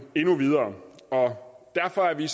endnu videre og derfor er vi